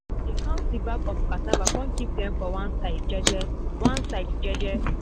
dey count the bags of cassava con keep them for one side jeje one side jeje